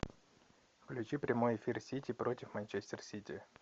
включи прямой эфир сити против манчестер сити